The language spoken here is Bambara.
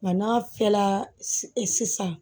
Nka n'a fiyɛla sisan